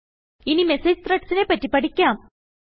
ഇനി മെസേജ് Threadsനെ പറ്റി പഠിക്കാം